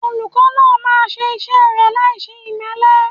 Olùkọ́ náà máa ṣe iṣẹ́ rẹ̀ láìṣe ìmẹ́lẹ́.